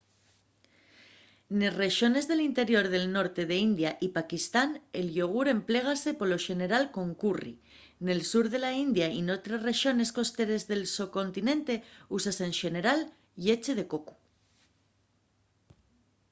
nes rexones del interior del norte de la india y paquistán el yogur emplégase polo xeneral con curri; nel sur de la india y n’otres rexones costeres del socontinente úsase en xenera lleche de cocu